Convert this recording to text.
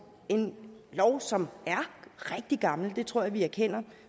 en lov som er rigtig gammel det tror jeg vi erkender